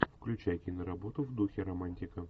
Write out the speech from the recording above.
включай киноработу в духе романтика